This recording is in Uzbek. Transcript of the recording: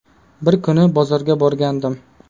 Bir kuni bozorga borgandim.